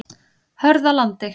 Hörðalandi